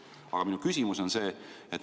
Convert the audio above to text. Aga minu küsimus on see.